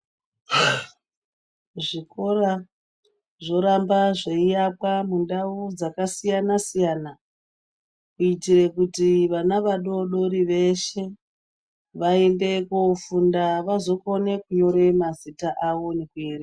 Zvikora zvoramba zveiakwa mundau dzakasiyana -siyana, kuitire vana vadoodori veshe vaende koofunda ,vazokone kunyore mazita avo nekuerenga.